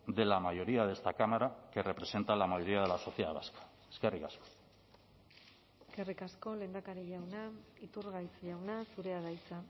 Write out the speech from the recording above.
de la mayoría de esta cámara que representa la mayoría de la sociedad vasca eskerrik asko eskerrik asko lehendakari jauna iturgaiz jauna zurea da hitza